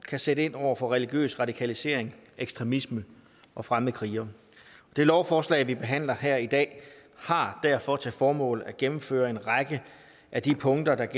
kan sætte ind over for religiøs radikalisering ekstremisme og fremmede krigere det lovforslag vi behandler her i dag har derfor til formål at gennemføre en række af de punkter